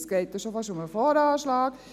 Es geht ja schon fast um den VA.